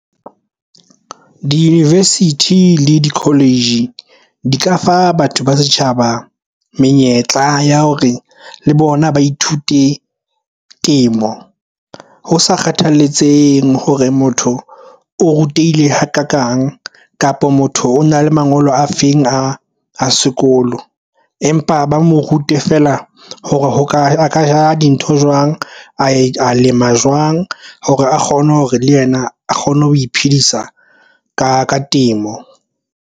Di-university le di-college di ka fa batho ba setjhaba menyetla ya hore le bona ba ithute temo ho sa kgathaletsehe hore motho o rutehile hakakang kapa motho ona le mangolo a feng a sekolo, empa ba mo rute feela hore ho ka a ka dintho jwang a lema jwang hore a kgone hore le yena a kgone ho iphedisa ka temo.